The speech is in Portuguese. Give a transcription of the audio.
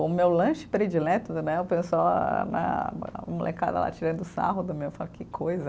O meu lanche predileto né, o pessoal, né, a molecada lá tirando sarro do meu, eu falo, que coisa.